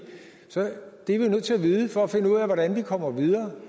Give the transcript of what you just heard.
nødt til at vide for at finde ud af hvordan vi kommer videre